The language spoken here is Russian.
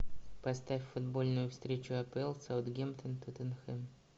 поставь футбольную встречу апл саутгемптон тоттенхэм